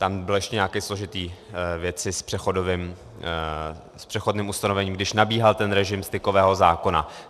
Tam byly ještě nějaké složité věci s přechodným ustanovením, když nabíhal ten režim stykového zákona.